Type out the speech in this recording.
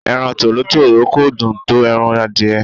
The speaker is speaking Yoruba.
Ẹran Tòlótòló kò dùn tó ẹran adìẹ.